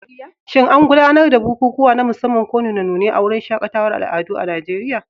Shin an gudanar da bukukuwa na musamman ko nune-nune a wurin shaƙatawar al'adu a Najeriya?